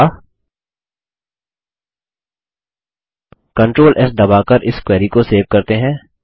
अगला control S दबाकर इस क्वेरी को सेव करते हैं